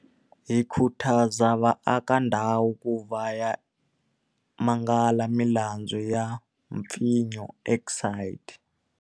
Hi khutaza vaakandhawu ku ya va ya mangala milandzu ya mpfinyo exit.